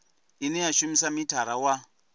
ine ya shumisa mithara wa